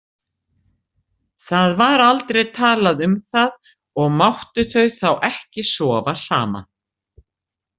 Það var aldrei talað um það og máttu þau þá ekki sofa saman?